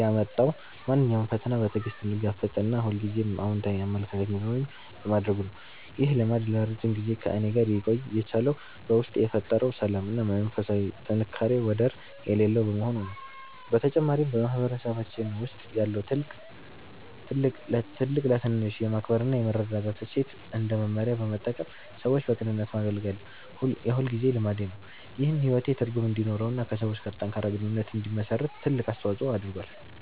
ያመጣው ማንኛውንም ፈተና በትዕግስት እንድጋፈጥ እና ሁልጊዜም አዎንታዊ አመለካከት እንዲኖረኝ በማድረጉ ነው። ይህ ልማድ ለረጅም ጊዜ ከእኔ ጋር ሊቆይ የቻለው በውስጤ የፈጠረው ሰላም እና የመንፈስ ጥንካሬ ወደር የሌለው በመሆኑ ነው። በተጨማሪም፣ በማህበረሰባችን ውስጥ ያለውን ትልቅ ለትንሽ የማክበር እና የመረዳዳት እሴት እንደ መመሪያ በመጠቀም ሰዎችን በቅንነት ማገልገል የሁልጊዜ ልማዴ ነው። ይህም ሕይወቴ ትርጉም እንዲኖረውና ከሰዎች ጋር ጠንካራ ግንኙነት እንድመሰርት ትልቅ አስተዋጽኦ አድርጓል።